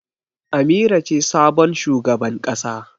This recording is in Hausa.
Amira ce sabon shugaban ƙasa.